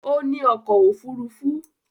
Ó ní ọkọ̀ òfurufú